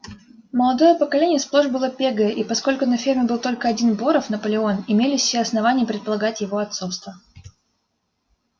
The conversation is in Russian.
молодое поколение сплошь было пегое и поскольку на ферме был только один боров наполеон имелись все основания предполагать его отцовство